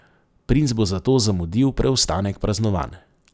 Princ bo zato zamudil preostanek praznovanj.